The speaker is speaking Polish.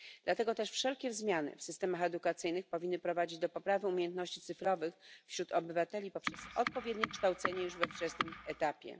Dlatego też wszelkie zmiany w systemach edukacyjnych powinny prowadzić do poprawy umiejętności cyfrowych wśród obywateli poprzez odpowiednie kształcenie już na wczesnym etapie.